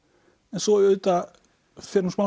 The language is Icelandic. en svo auðvitað fer hún smám